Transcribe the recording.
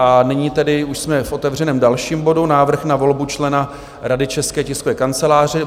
A nyní tedy už jsme v otevřeném dalším bodu, Návrh na volbu člena Rady České tiskové kanceláře.